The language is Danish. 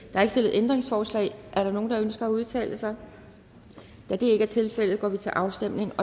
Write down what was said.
ændringsforslag er der nogen der ønsker at udtale sig da det ikke er tilfældet går vi til afstemning